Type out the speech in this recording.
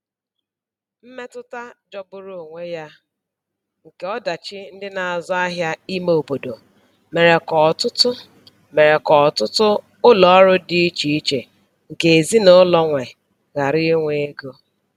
Mmetụta jọgburu onwe ya nke ọdachi ndị na-azụ ahịa ime obodo mere ka ọtụtụ mere ka ọtụtụ ụlọ ọrụ dị icheiche nke ezinụlọ nwe ghara inwe ego.